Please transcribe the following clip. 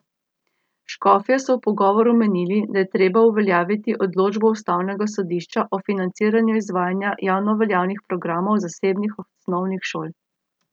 Škofje so v pogovoru menili, da je treba uveljaviti odločbo ustavnega sodišča o financiranju izvajanja javnoveljavnih programov zasebnih osnovnih šol.